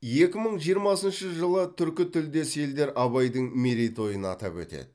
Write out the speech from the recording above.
екі мың жиырмасыншы жылы түркі тілдес елдер абайдың мерейтойын атап өтеді